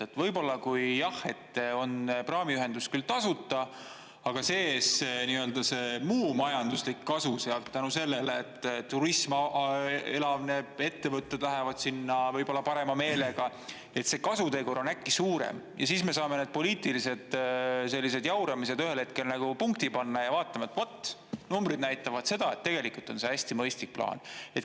Et võib-olla, kui on praamiühendus küll tasuta, aga see muu majanduslik kasu sealt tänu sellele, et turism elavneb, ettevõtted lähevad sinna võib-olla parema meelega, see kasutegur on äkki suurem ja siis me saame need poliitilised sellised jauramised ühel hetkel nagu punkti panna ja vaatame, et vot numbrid näitavad seda, et tegelikult on see hästi mõistlik plaan.